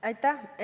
Aitäh!